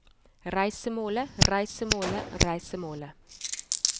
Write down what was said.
reisemålet reisemålet reisemålet